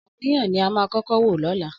Ọ̀rànmíyàn ni a máa kọ́kọ́ wò lọ́la.